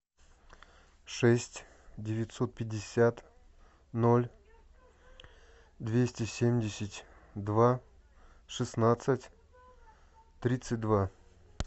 шесть девятьсот пятьдесят ноль двести семьдесят два шестнадцать тридцать два